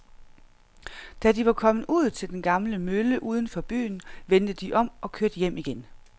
Da de var kommet ud til den gamle mølle uden for byen, vendte de om og kørte hjem igen.